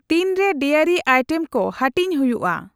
ᱛᱤᱱᱨᱮ dairy item ᱠᱚ ᱦᱟᱹᱴᱤᱧ ᱦᱩᱭᱩᱜᱼᱟ ?